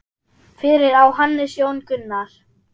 Fyrir á Hannes Jón Gunnar.